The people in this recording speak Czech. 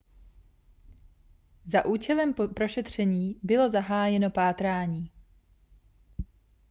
za účelem prošetření bylo zahájeno pátrání